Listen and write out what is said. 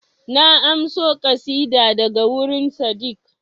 Na amso ƙasida ta daga wurin Sadeeq